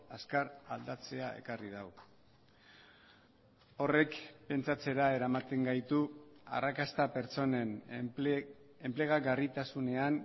azkar aldatzea ekarri du horrek pentsatzera eramaten gaitu arrakasta pertsonen enplegagarritasunean